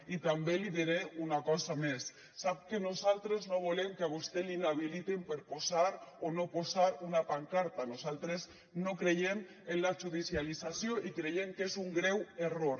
i també li diré una cosa més sap que nosaltres no volem que a vostè l’inhabiliten per posar o no posar una pancarta nosaltres no creiem en la judicialització i creiem que és un greu error